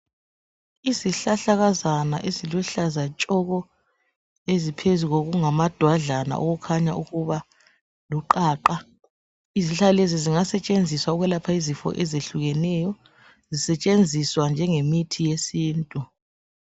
Izihlahlakazana eziluhlaza tshoko eziphezu kokungamadwadlana okukhanya ukuba luqaqa. Izihlahla lezi zingasetshenziswa ukwelapha izifo ezihlukehlukeneyo, zingasetshenziswa njengemithi yesintu.